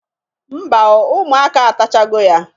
Mba o, ụmụaka atachago ya